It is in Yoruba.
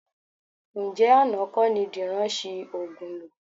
Ǹjẹ́ àná kọ́ ni Dìran ṣi òògùn lò?